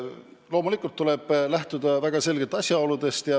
Loomulikult tuleb väga selgelt lähtuda asjaoludest.